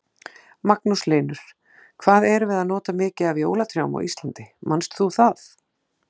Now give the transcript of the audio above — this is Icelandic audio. Magnús Hlynur: Hvað erum við að nota mikið af jólatrjám á Íslandi, manst þú það?